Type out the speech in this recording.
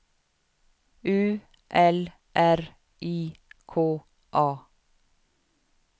U L R I K A